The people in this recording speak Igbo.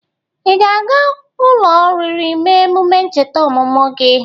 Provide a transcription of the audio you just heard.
Ị ga-aga ụlọ oriri mee emume ncheta ọmụmụ gị?